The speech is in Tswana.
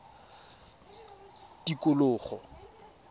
tikologo